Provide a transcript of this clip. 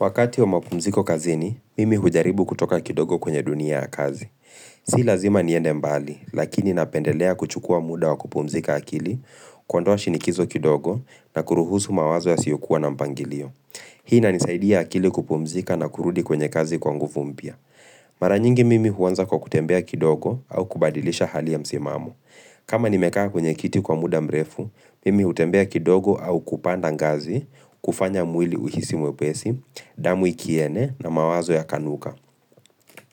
Wakati wa mapumziko kazini, mimi hujaribu kutoka kidogo kwenye dunia ya kazi. Si lazima niende mbali, lakini napendelea kuchukua muda wa kupumzika akili, kuondoa shinikizo kidogo na kuruhusu mawazo yasiyokuwa na mpangilio. Hii inanisaidia akili kupumzika na kurudi kwenye kazi kwa nguvu mpya. Mara nyingi mimi huanza kwa kutembea kidogo au kubadilisha hali ya msimamo. Kama nimekaa kwenye kiti kwa muda mrefu, mimi hutembea kidogo au kupanda ngazi, kufanya mwili uhisi mwepesi, damu ikiene na mawazo yakanuka